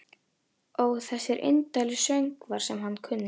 Ó þessir indælu söngvar sem hann kunni.